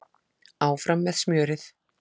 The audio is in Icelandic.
Áfram með smjörið